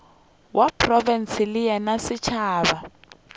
wa profense le wa setšhaba